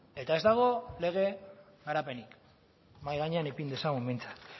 eta ez dago lege garapenik mahai gainean ipin dezagun behintzat